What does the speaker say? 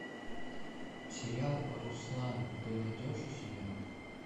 сериал руслан ты найдешь у себя